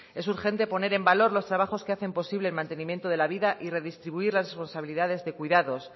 es urgente poner en valor los trabajos que hacen posible el mantenimiento de la vida y redistribuir las responsabilidades de cuidados